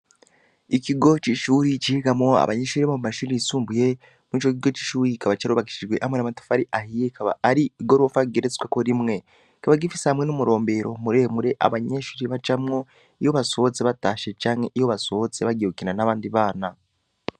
Ikigo c'ishure cigamwo abanyeshure bo mu mashure yisumbuye, ico kigo c'ishure kikaba carubakishijwe hamwe n'amatafari ahiye ikaba ari igorofa igeretsweko rimwe, kikaba gifise hamwe n'umurombero abanyeshure bajamwo iyo basohotse batashe canke iyo basohotse bagiye gukina n'abandi bana.